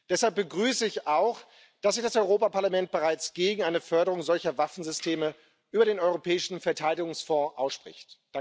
Deshalb begrüße ich auch, dass sich das Europäische Parlament bereits gegen eine Förderung solcher Waffensysteme über den Europäischen Verteidigungsfonds ausspricht.